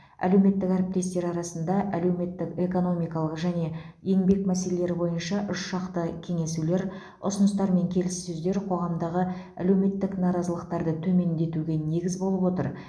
әлеуметтік әріптестер арасында әлеуметтік экономикалық және еңбек мәселелері бойынша үшжақты кеңесулер ұсыныстар мен келіссөздер қоғамдағы әлеуметтік наразылықтарды төмендетуге негіз болып отыр